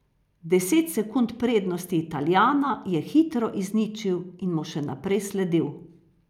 Deset sekund prednosti Italijana je hitro izničil in mu še naprej sledil.